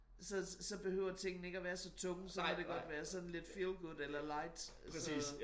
Så så behøver tingene ikke at være så tunge så må det godt være sådan lidt feel good eller light så